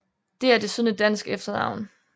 Det er desuden et dansk efternavn